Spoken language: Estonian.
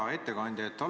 Hea ettekandja!